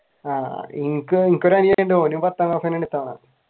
ആഹ് എനിക്കൊരു അനിയനുണ്ട് ഓനും പത്താം ക്ലാസ്സിൽ തന്നെ